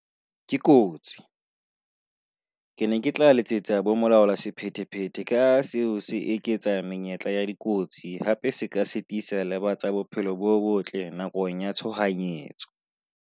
Ke kotsi, ke ne ke tla letsetsa bomolaolasephetephete ka ha seo se eketsa menyetla ya dikotsi, hape se ka sitisa le ba tsa bophelo bo botle nakong ya tshohanyetso.